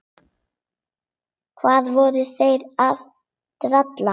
Hvað voru þeir að bralla?